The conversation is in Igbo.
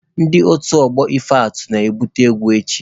Ndị otu ọgbọ ife atụ na-ebupute egwu echi.